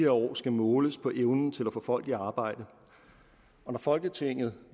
år skal måles på evnen til at få folk i arbejde og når folketinget